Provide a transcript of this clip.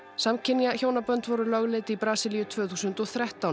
samkynja hjónabönd voru lögleidd í Brasilíu tvö þúsund og þrettán